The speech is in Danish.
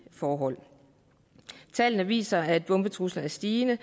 forhold tallene viser at antallet af bombetrusler er stigende